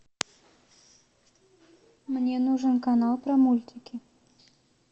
мне нужен канал про мультики